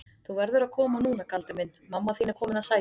Þú verður að koma núna Galdur minn, mamma þín er komin að sækja þig.